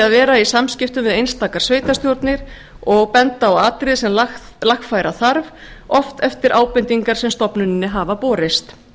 að vera í samskiptum við einstakar sveitarstjórnir og benda á atriði sem lagfæra þarf oft eftir ábendingar sem stofnuninni hafa borist